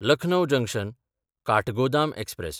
Lucknow जंक्शन–काठगोदाम express